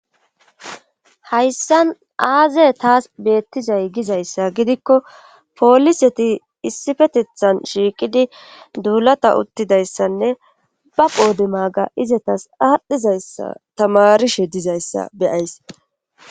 hayssan aaze taas beettizay gizayssa gidikko poliseti issifetethan shiiqidi duulata uttidayssanne ba poode maaga izatas aadhdhizayssa tamarishe dizayssa beyays.